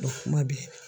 kuma bɛ